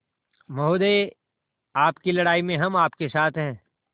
महोदय आपकी लड़ाई में हम आपके साथ हैं